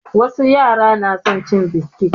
Wasu yara na son cin biskit